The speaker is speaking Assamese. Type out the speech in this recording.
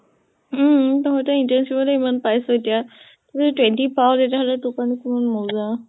উম তহঁতে internship তে ইমান পাইছ এতিয়া, তই যদি twenty পাৱ, তেতিয়া হলে তোৰ কাৰণে কিমান মজা।